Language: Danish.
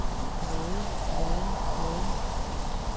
måde måde måde